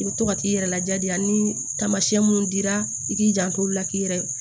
I bɛ to ka t'i yɛrɛ lajadiya ni taamasiyɛn minnu dira i k'i janto o la k'i yɛrɛ